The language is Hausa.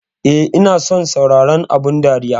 Eh ina son sauraron abun dariya.